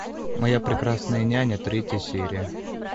моя прекрасная няня третья серия